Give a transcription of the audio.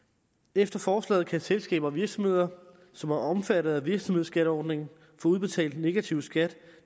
efter forslaget kan selskaber og virksomheder som er omfattet af virksomhedsskatteordningen få udbetalt negativ skat